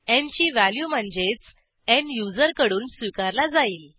न् ची व्हॅल्यू म्हणजेच न् युजरकडून स्वीकारला जाईल